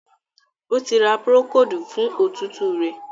O tí ra Procold fún òtútù rẹ.